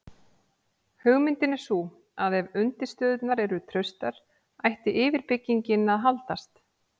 hugmyndin er sú að ef undirstöðurnar eru traustar ætti yfirbyggingin að haldast